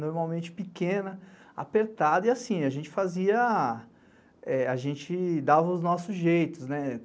Normalmente pequena, apertada e assim, a gente fazia, a gente dava os nossos jeitos, né?